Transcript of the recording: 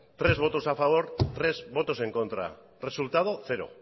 tres votos a favor tres votos en contra resultado cero